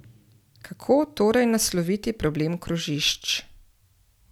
Kako torej nasloviti problem krožišč?